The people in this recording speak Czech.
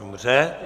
Dobře.